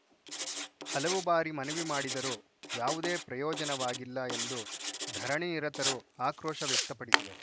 ಹಲವು ಬಾರಿ ಮನವಿ ಮಾಡಿದರೂ ಯಾವುದೇ ಪ್ರಯೋಜನವಾಗಿಲ್ಲ ಎಂದು ಧರಣಿನಿರತರು ಆಕ್ರೋಶ ವ್ಯಕ್ತಪಡಿಸಿದರು